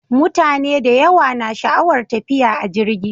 Mutane da yawa na sha'awar tafiya a jirgi.